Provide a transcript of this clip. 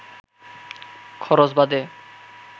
খরচ বাদে